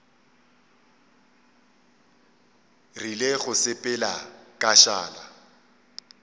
rile go sepela ka šala